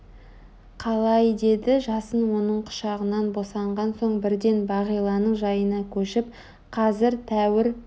Қалай деді жасын оның құшағынан босанған соң бірден бағиланың жайына көшіп Қазір тәуір